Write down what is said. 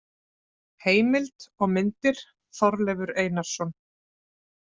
Heimild og myndir: Þorleifur Einarsson.